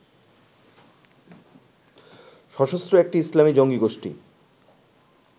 সশস্ত্র একটি ইসলামী জঙ্গী গোষ্ঠি